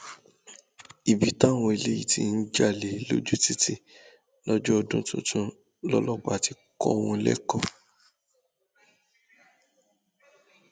ibi táwọn eléyìí ti ń jalè lójú títì lọjọ ọdún tuntun lọlọpàá ti kọ wọn lẹkọọ